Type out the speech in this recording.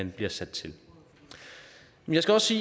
bliver sat til jeg skal også